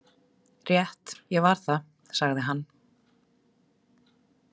Rétt, ég var það, sagði hann.